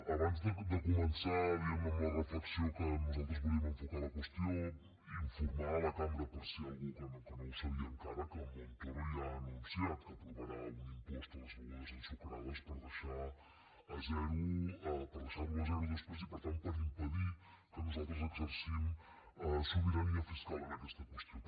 abans de començar diguem ne amb la reflexió que nosaltres volíem enfocar la qüestió informar la cambra per si hi ha algú que no ho sabia encara que en montoro ja ha anunciat que aprovarà un impost a les begudes ensucrades per deixar lo a zero després i per tant per impedir que nosaltres exercim sobirania fiscal en aquesta qüestió